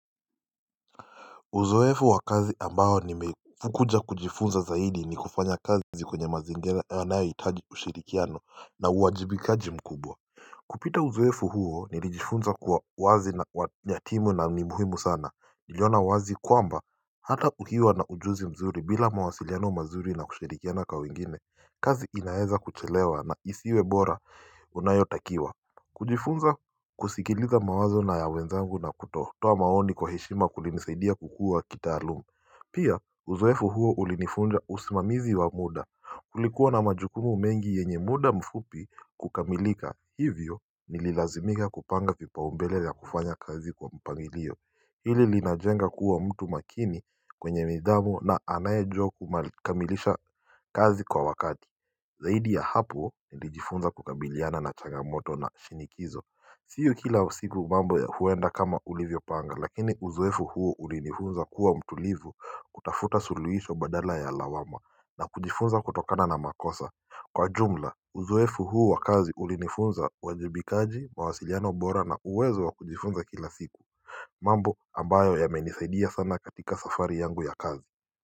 Uzoefu wa kazi ambayo nimekuja kujifunza zaidi ni kufanya kazi kwenye mazingira yanayohitaji ushirikiano na uwajibikaji mkubwa kupita uzoefu huo nilijifunza kuwa wazi na wanyatimu na ni muhimu sana niliona wazi kwamba hata ukiwa na ujuzi mzuri bila mawasiliano mazuri na kushirikiana kwa wengine kazi inaeza kuchelewa na isiwe bora unayotakiwa kujifunza kusikiliza mawazo na ya wenzangu na kutoa maoni kwa heshima kulinisaidia kukua kitaalumu Pia uzoefu huo ulinifunza usimamizi wa muda Kulikuwa na majukumu mengi yenye muda mfupi kukamilika hivyo nililazimika kupanga vipaumbele vya kufanya kazi kwa mpangilio Hili linajenga kuwa mtu makini kwenye midamu na anayejua kukamilisha kazi kwa wakati Zaidi ya hapo nilijifunza kukabiliana na changamoto na shinikizo Sio kila siku mambo ya huwenda kama ulivyo panga lakini uzoefu huo ulinifunza kuwa mtulivu kutafuta suluisho badala ya lawama na kujifunza kutokana na makosa Kwa jumla uzuefu huo wakazi ulinifunza wajibikaji mawasiliano bora na uwezo wa kujifunza kila siku mambo ambayo yamenisaidia sana katika safari yangu ya kazi.